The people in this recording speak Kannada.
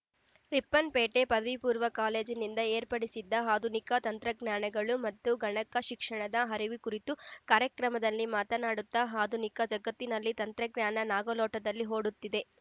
ರಿಪ್ಪನ್‌ಪೇಟೆ ಪದವಿ ಪೂರ್ವ ಕಾಲೇಜಿನಿಂದ ಏರ್ಪಡಿಸಿದ್ದ ಆಧುನಿಕ ತಂತ್ರಜ್ಞಾನಗಳು ಮತ್ತು ಗಣಕ ಶಿಕ್ಷಣದ ಅರಿವು ಕುರಿತ ಕಾರ್ಯಕ್ರಮದಲ್ಲಿ ಮಾತನಾಡುತ್ತಾ ಆಧುನಿಕ ಜಗತ್ತಿನಲ್ಲಿ ತಂತ್ರಜ್ಞಾನ ನಾಗಾಲೋಟದಲ್ಲಿ ಓಡುತ್ತಿದೆ